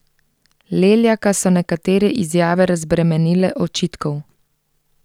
Leljaka so nekatere izjave razbremenile očitkov.